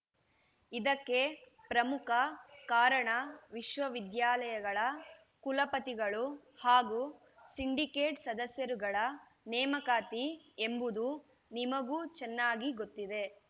ಇದಕ್ಕೆ ಪ್ರಮುಖ ಕಾರಣ ವಿಶ್ವವಿದ್ಯಾಲಯಗಳ ಕುಲಪತಿಗಳು ಹಾಗೂ ಸಿಂಡಿಕೇಟ್‌ ಸದಸ್ಯರುಗಳ ನೇಮಕಾತಿ ಎಂಬುದು ನಿಮಗೂ ಚೆನ್ನಾಗಿ ಗೊತ್ತಿದೆ